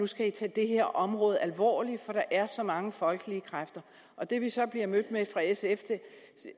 skal tage det her område alvorligt for der er så mange folkelige kræfter det vi så bliver mødt med fra sfs